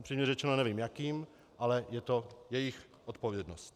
Upřímně řečeno nevím jakým, ale je to jejich odpovědnost.